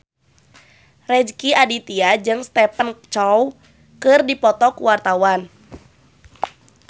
Rezky Aditya jeung Stephen Chow keur dipoto ku wartawan